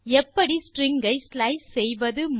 எப்படி ஸ்ட்ரிங்ஸ் ஐ ஸ்லைஸ் செய்வது